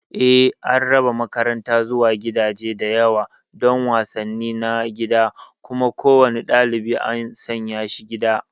Eh, an raba makaranta zuwa gidaje da yawa don wasanni na gida, kuma kowane ɗalibi an sanya shi gida.